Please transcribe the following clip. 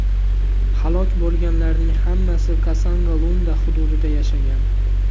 Halok bo‘lganlarning hammasi Kasongo-Lunda hududida yashagan.